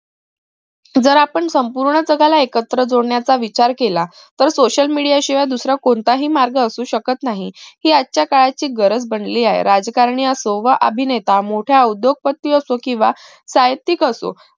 जर आपण संपूर्ण जगाला एकत्र जोडण्याचा विचार केला तर social media शिवाय दुसरा कोणताही मार्ग असू शकत नाही हि आजच्या काळाची गरज बनली आहे राजकारणी असो व अभिनेता मोठा उद्योगपती असो केंव्हा साहित्यिक असो